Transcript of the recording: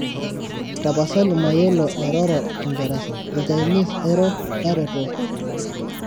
tapasali mayolo airoro kingereza ilchinese airo taretoki